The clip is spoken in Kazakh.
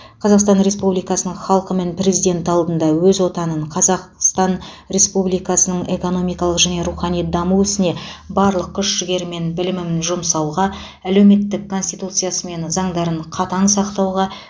қазақстан республикасының халқы мен президенті алдында өз отаным қазақстан республикасының экономикалық және рухани даму ісіне барлық күш жігерім мен білімім жұмсауға әлеуметтік конституциясы мен заңдарын қатаң сақтауға